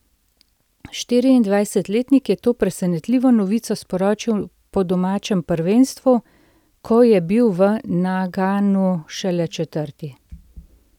Štiriindvajsetletnik je to presenetljivo novico sporočil po domačem prvenstvu, ko je bil v Naganu šele četrti.